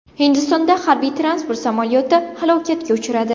Hindistonda harbiy-transport samolyoti halokatga uchradi.